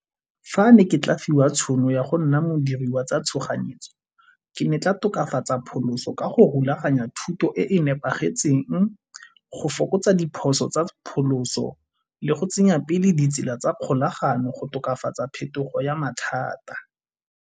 Fa ne ke fiwa tšhono ya go nna modiri wa tsa tshoganyetso ke ne ke tla tokafatsa phaloso ka go rulaganya thuto e e nepagetseng, go fokotsa diphoso tsa phaloso le go tsenya pele ditsela tsa kgolagano go tokafatsa phetogo ya mathata.